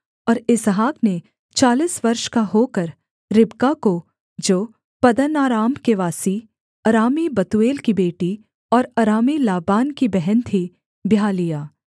और इसहाक ने चालीस वर्ष का होकर रिबका को जो पद्दनराम के वासी अरामी बतूएल की बेटी और अरामी लाबान की बहन थी ब्याह लिया